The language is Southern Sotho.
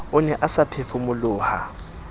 o ne a sa phefumoloha